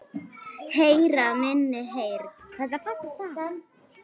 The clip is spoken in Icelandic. Heyra minni heyrn.